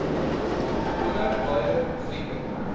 onder baie grieke